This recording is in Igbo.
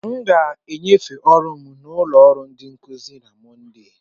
M ga-enyefee ọrụ m na ụlọ ọrụ ndi nkuzi na Mọnde.